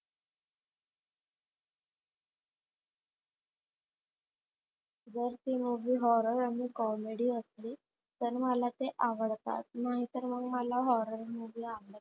जर ती horror, comedy आणि comedy असली तर तर मला आवडतात नाहीतर मग मला movie आवडत नाही.